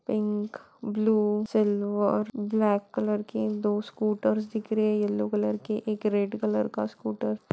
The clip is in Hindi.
Pink blue silver black colour के दो स्कूटर दिख रहे हैं येलो कलर के एक रेड कलर का स्कूटर ।